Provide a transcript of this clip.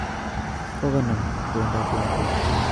Kokonam kowendot lakwet